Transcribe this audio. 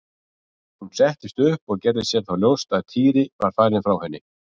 Hún settist upp og gerði sér þá ljóst að Týri var farinn frá henni.